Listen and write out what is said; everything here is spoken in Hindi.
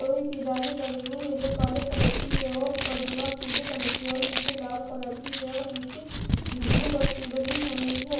दोई लगी हुई है जो काले कलर की है और उपर दीवार पीले कलर की और निचे लाल कलर की है और निचे ब्लू पट्टी बनी हुई है।